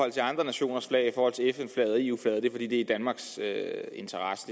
til andre nationers flag fn flaget og eu flaget i danmarks interesse